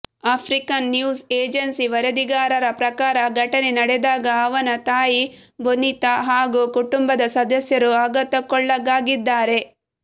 African news agency ವರದಿಗಾರರ ಪ್ರಕಾರ ಘಟನೆ ನಡೆದಾಗ ಅವನ ತಾಯಿ ಬೊನಿತಾ ಹಾಗೂ ಕುಟುಂಬದ ಸದಸ್ಯರು ಆಘಾತಕ್ಕೊಳಗಾಗಿದ್ದಾರೆ